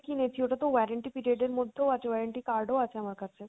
কিনেছি ওটা তো warranty period এর মধ্যেও আছে, warranty card ও আছে আমার কাছে।